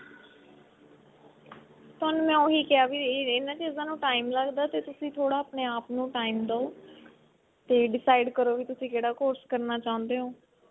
ਤੁਹਾਨੂੰ ਉਹੀ ਕਿਹਾ ਵੀ ਇਹਨਾਂ ਚੀਜਾਂ ਨੂੰ time ਲੱਗਦਾ ਤੇ ਤੁਸੀਂ ਥੋੜਾ ਆਪਨੇ ਆਪ ਨੂੰ time ਦੋ ਤੇ decide ਕਰੋ ਵੀ ਤੁਸੀਂ ਕਿਹੜਾ course ਕਰਨਾ ਚਾਹੁੰਦੇ ਹੋ